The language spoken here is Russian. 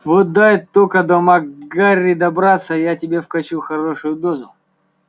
вот дай только до мак гэрри добраться я тебе вкачу хорошую дозу